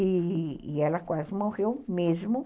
E e ela quase morreu mesmo.